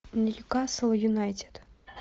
ньюкасл юнайтед